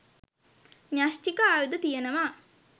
න්‍යෂ්ටික ආයුධ තියෙනවා